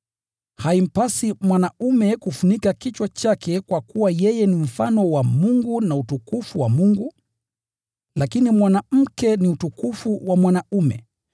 Haimpasi mwanaume kufunika kichwa chake kwa kuwa yeye ni mfano wa Mungu na utukufu wa Mungu, lakini mwanamke ni utukufu wa mwanaume.